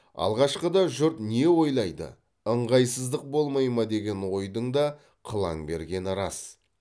алғашқыда жұрт не ойлайды ыңғайсыздық болмай ма деген ойдың да қылаң бергені рас